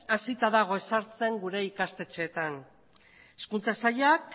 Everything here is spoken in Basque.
hasita dago ezartzen gure ikastetxeetan hezkuntza sailak